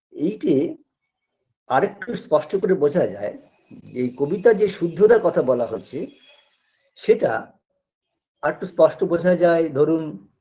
এইটে আর একটু স্পষ্ট করে বোঝা যায় যে কবিতায় যে শুদ্ধতার কথা বলা হচ্ছে সেটা আরটু স্পষ্ট বোঝা যায় ধরুন